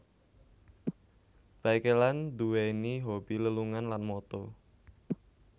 Baekeland duwéni hobi lelungan lan moto